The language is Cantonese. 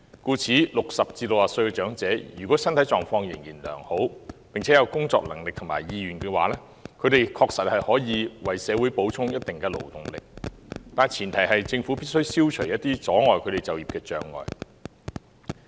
故此 ，60 歲至64歲的長者，如果身體狀況仍然良好，並且有工作能力和意願，他們確實可以為社會補充一定的勞動力，但前提是政府必須消除一些阻礙他們就業的障礙。